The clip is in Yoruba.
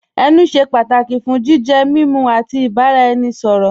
Ẹnù ṣẹ́ pátàkì fún jìjẹ, mímú, àti ìbàraẹnisọ̀rọ̀ ọ̀rọ̀.